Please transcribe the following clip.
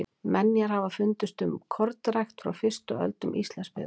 menjar hafa fundist um kornrækt frá fyrstu öldum íslandsbyggðar